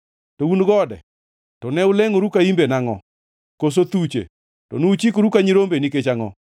To un gode to ne ulengʼoru ka imbe nangʼo? Koso thuche to nochikore ka nyirombe nikech angʼo?